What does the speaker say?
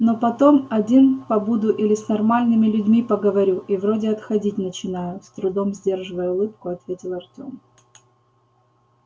но потом один побуду или с нормальными людьми поговорю и вроде отходить начинаю с трудом сдерживая улыбку ответил артём